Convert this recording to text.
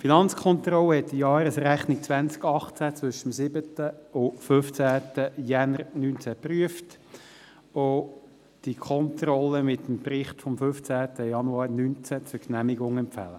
Die Finanzkontrolle hat die Jahresrechnung 2018 zwischen dem 7. und dem 15. Januar 2019 geprüft und hat diese Kontrolle mit dem Bericht vom 15. Januar 2019 zur Genehmigung empfohlen.